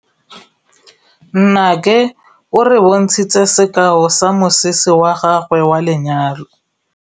Nnake o re bontshitse sekaô sa mosese wa gagwe wa lenyalo.